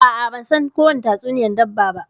A'a ban san kowani tatsuniyan dabba ba.